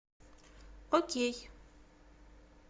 окей